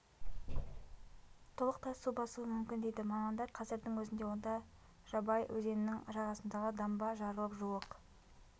толықтай су басуы мүмкін дейді мамандар қазірдің өзінде онда жабай өзенінің жағасындағы дамба жарылып жуық